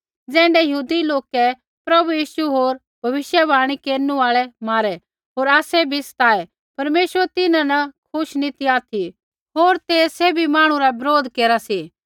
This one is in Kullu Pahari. ज़ैण्ढै यहूदी लोकै प्रभु यीशु होर भविष्यवाणी केरनु आल़ै मारै होर आसै बी सताऐ परमेश्वर तिन्हां न खुश नी ऑथि होर ते सैभी मांहणु रा बरोध केरा सी